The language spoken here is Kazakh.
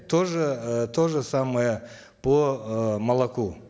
то же э то же самое по э молоку